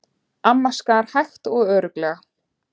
Amma skar hægt og örugglega.